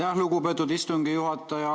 Aitäh, lugupeetud istungi juhataja!